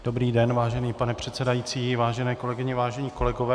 Dobrý den, vážený pane předsedající, vážené kolegyně, vážení kolegové.